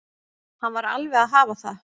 Hann var alveg að hafa það.